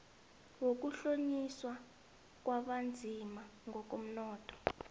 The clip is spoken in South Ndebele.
wokuhlonyiswa kwabanzima ngokomnotho